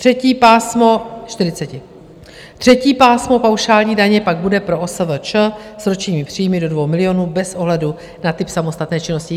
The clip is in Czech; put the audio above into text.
Třetí pásmo paušální daně pak bude pro OSVČ s ročními příjmy do 2 milionů bez ohledu na typ samostatné činnosti.